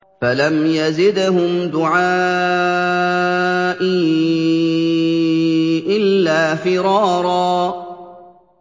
فَلَمْ يَزِدْهُمْ دُعَائِي إِلَّا فِرَارًا